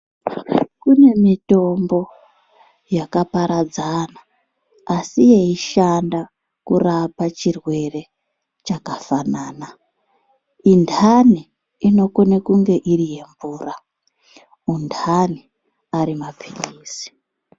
Kune mitombo yaka paradzana asi yeishanda kurapa chirwere chakafanana. Intani inokone kunge iri yemvura, untani ari mapirizi.